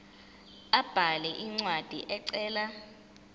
abhale incwadi ecela